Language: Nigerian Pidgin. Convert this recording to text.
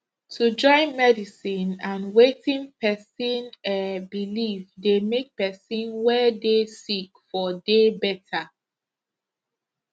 to join medicine and wetin pesin eh believe dey make pesin wey dey sick for dey better